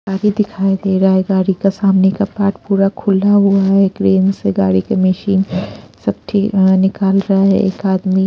गाड़ी दिखाई दे रहा है गाड़ी का सामने का पार्ट पूरा खुला हुआ है ग्रेन से गाड़ी के मशीन सब ठीक निकाल रहा है एक आदमी --